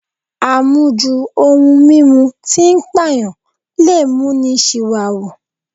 Àmujù ohun mímu tí ń pàyàn lè mú ni ṣìwàhù